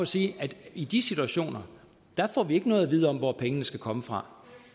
sige at i de situationer får vi ikke noget at vide om hvor pengene skal komme fra